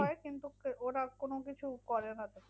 হয় কিন্তু ওরা কোনোকিছু করে না তো।